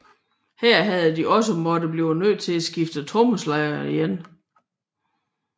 Her havde de også måtte blive nød til at skifte trommeslager igen